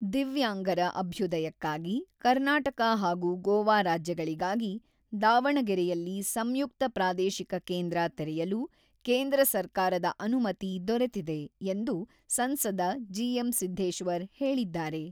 """ದಿವ್ಯಾಂಗರ ಅಭ್ಯುದಯಕ್ಕಾಗಿ ಕರ್ನಾಟಕ ಹಾಗೂ ಗೋವಾ ರಾಜ್ಯಗಳಿಗಾಗಿ ದಾವಣಗೆರೆಯಲ್ಲಿ ಸಂಯುಕ್ತ ಪ್ರಾದೇಶಿಕ ಕೇಂದ್ರ ತೆರೆಯಲು ಕೇಂದ್ರ ಸರ್ಕಾರದ ಅನುಮತಿ ದೊರೆತಿದೆ"" ಎಂದು ಸಂಸದ ಜಿ.ಎಂ.ಸಿದ್ದೇಶ್ವರ್ ಹೇಳಿದ್ದಾರೆ."